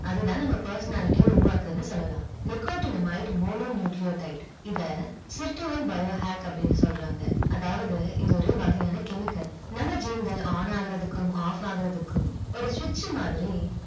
அது தான் நம்ம personality அ உருவாக்குதுன்னு சொல்லலாம் nicotinamide mononucleotide இத biohack னு சொல்றாங்க அதாவது இது ஒரு வகையான chemical நம்ம gene கல் on ஆகுறதுக்கும் off ஆகுறதுக்கும் ஒரு switch மாதிரி